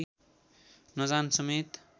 नजान समेत